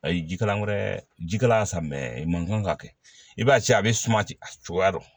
Ayi jikalan wɛrɛ jikalan san i man g ka kɛ i b'a ye cɛn a be suma ten a cogoya dɔn